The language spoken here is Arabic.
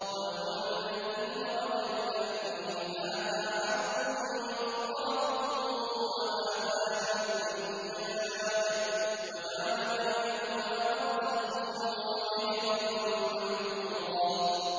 ۞ وَهُوَ الَّذِي مَرَجَ الْبَحْرَيْنِ هَٰذَا عَذْبٌ فُرَاتٌ وَهَٰذَا مِلْحٌ أُجَاجٌ وَجَعَلَ بَيْنَهُمَا بَرْزَخًا وَحِجْرًا مَّحْجُورًا